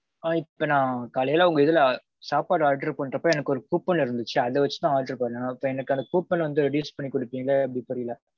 ஆ இப்ப நான் காலையில உங்க இதுல சாப்பாடு order பண்றப்போ எனக்கு ஒரு coupon ல இருந்துச்சு. அத வச்சுதான் order பண்ணேன். இப்போ எனக்கு அந்த coupon வந்து reuse பன்னி குடுப்பீங்களா எப்பிடின்னு தெரியல.